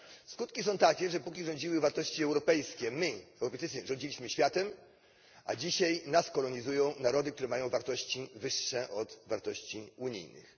Skutki są takie, że póki rządziły wartości europejskie, my Europejczycy rządziliśmy światem, a dzisiaj nas kolonizują narody, które mają wartości wyższe od wartości unijnych.